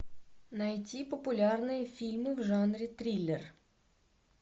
найди популярные фильмы в жанре триллер